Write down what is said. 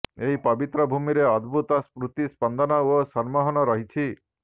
ଏହି ପବିତ୍ର ଭୂମିରେ ଅଦ୍ଭୁତ ସ୍ପୂର୍ତି ସ୍ପନ୍ଦନ ଓ ସମ୍ମୋହନ ରହିଛି